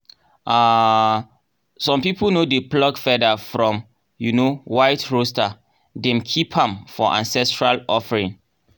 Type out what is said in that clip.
um some people no dey pluck feather from um white rooster — dem keep am for ancestral offering.